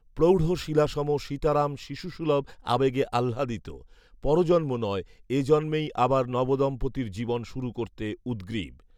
প্রৌঢ়শিলাসম সীতারাম শিশুসুলভ আবেগে আহ্লাদিত; পরজন্ম নয়, এই জন্মেই আবার নবদম্পতির জীবন শুরু করতে উদগ্রীব